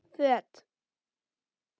Föt